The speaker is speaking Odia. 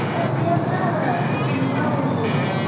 ଖିଆ ପିଆ ପୁରା ସବୁ ଧୂଆଁ ଉଡିଯାଇଥିବ।